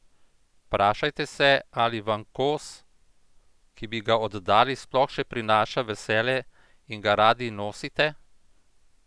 Vprašajte se, ali vam kos, ki bi ga oddali, sploh še prinaša veselje in ga radi nosite?